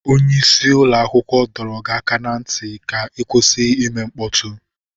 Onye isi ụlọ akwụkwọ dọrọ gị aka ná ntị ka ị kwụsị ime mkpọtụ!